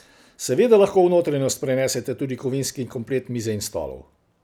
Seveda lahko v notranjost prenesete tudi kovinski komplet mize in stolov.